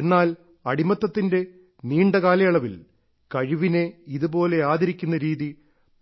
എന്നാൽ അടിമത്വത്തിന്റെ നീണ്ട കാലയളവിൽ കഴിവിനെ ഇതുപോലെ ആദരിക്കുന്ന രീതി